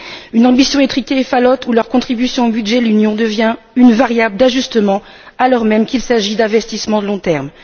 une ambition étriquée et falote où leur contribution au budget de l'Union devient une variable d'ajustement, alors même qu'il s'agit d'investissements de long terme.